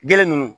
Gele nunnu